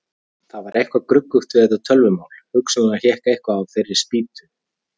Það var eitthvað gruggugt við þetta tölvumál, hugsanlega hékk eitthvað á þeirri spýtu.